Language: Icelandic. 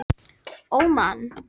Óman